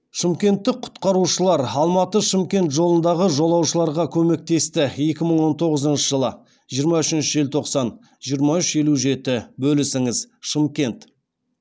шымкенттік құтқарушылар алматы шымкент жолындағы жолаушыларға көмектесті екі мың он тоғызыншы жылы жиырма үшінші желтоқсан жиырма үш елу жеті бөлісіңіз шымкент